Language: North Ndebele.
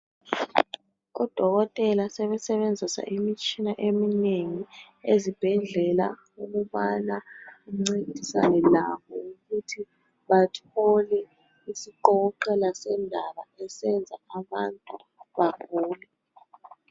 KuDokotela sebesebenzisa imitshina eminengi ezibhedlela ukubana bancedisane labo ukuthi bathole isiqokoqela sendaba esenza abantu bagule.